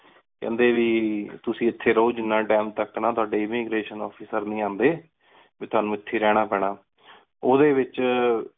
ਕੇਹੰਡੀ ਵੀ ਤੁਸੀਂ ਏਥੀ ਰਹੋ ਜਿਨਾ Time ਤਕ ਨਾ ਤੁਹਾਡੀ ਇਮ੍ਮਿਗ੍ਰਾਤਿਓਂ Officer ਨੀ ਆਂਡੀ ਵੀ ਤੁਹਾਨੂ ਏਥੇ ਰਹਨਾ ਪੈਣਾ। ਓਹਦੇ ਵਿਚ